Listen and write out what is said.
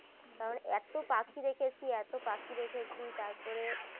তারপরে এত পাখি দেখেছি এত পাখি দেখেছি তারপরে